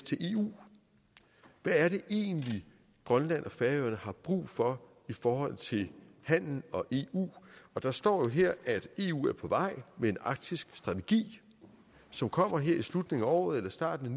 til eu hvad er det egentlig grønland og færøerne har brug for i forhold til handel og eu der står jo her at eu er på vej med en arktisk strategi som kommer her i slutningen af året eller i starten af